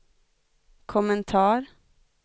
kommentar